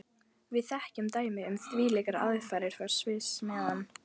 Við þekkjum dæmi um þvílíkar aðfarir frá Sviss, meðan